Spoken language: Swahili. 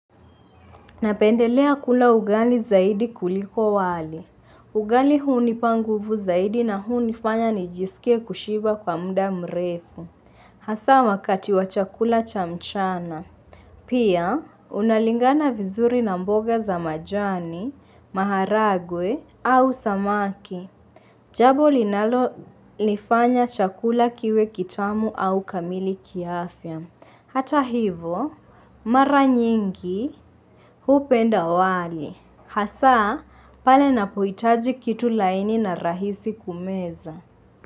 Napendelea kula ugali zaidi kuliko wali. Ugali hunipa nguvu zaidi na hunifanya nijisikie kushiba kwa muda mrefu. Hasaa wakati wa chakula cha mchana. Pia, unalingana vizuri na mboga za majani, maharagwe au samaki. Jambo linalolifanya chakula kiwe kitamu au kamili kiafya. Hata hivo mara nyingi hupenda wali. Hasaa pale ninapohitaji kitu laini na rahisi kumeza.